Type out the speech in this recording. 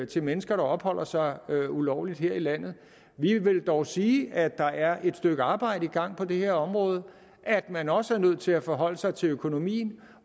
til mennesker der opholder sig ulovligt her i landet vi vil dog sige at der er et stykke arbejde i gang på det her område at man også er nødt til at forholde sig til økonomien